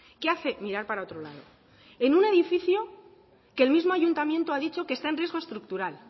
qué hace mirar para otro lado en un edificio que el mismo ayuntamiento ha dicho que está en riesgo estructural